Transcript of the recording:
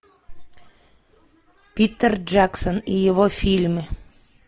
питер джексон и его фильмы